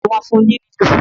tani wón fún ní lilu?